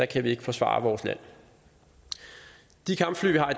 kan vi ikke forsvare vores land de kampfly vi har